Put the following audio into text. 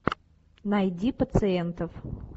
найди пациентов